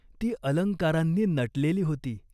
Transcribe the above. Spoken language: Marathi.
ती अलंकारांनी नटलेली होती.